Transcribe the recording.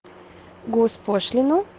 госпошлину